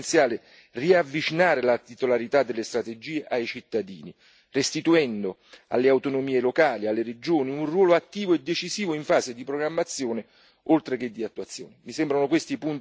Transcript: per questo è essenziale riavvicinare la titolarità delle strategie ai cittadini, restituendo alle autonomie locali e alle regioni un ruolo attivo e decisivo in fase di programmazione oltre che di attuazione.